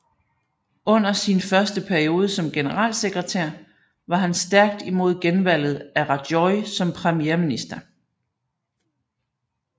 Under sin første periode som generalsekretær var han stærkt imod genvalget af Rajoy som premierminister